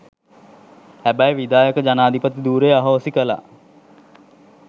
හැබැයි විධායක ජනාධිපති ධුරය අහෝසි කළා